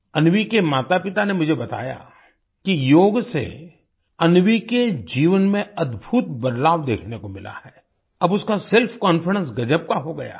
अन्वी के मातापिता ने मुझे बताया कि योग से अन्वी के जीवन में अद्भुत बदलाव देखने को मिला है अब उसका सेल्फकॉन्फिडेंस गजब का हो गया है